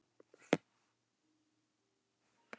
Lillý Valgerður Pétursdóttir: Og hvernig eru aðstæður?